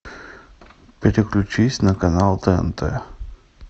переключись на канал тнт